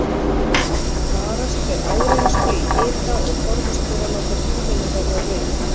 Varast ber áreynslu í hita og forðast ber að láta húðina verða rauða.